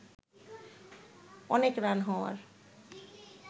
অনেক রান হওয়ার